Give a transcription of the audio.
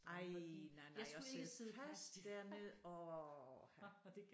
Ej nej nej at sidde fast dernede orh ha